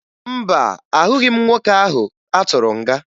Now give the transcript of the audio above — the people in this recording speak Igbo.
Mba, ahụghị m nwoke ahụ atụrụ nga.